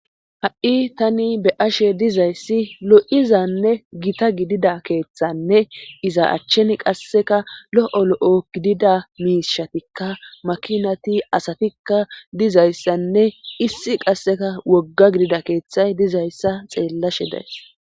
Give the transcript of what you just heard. ha'i tani be'ashe dizayssi lo'izanne gita gidida keeththanne iza achchen qasseka lo'o lo'o gidida miishatikka makinati asatikka dizayssanne issi qasseka wogga gidida keeththay dizayssa xeellashe days